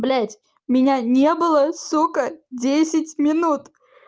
блять меня не было сука десять минут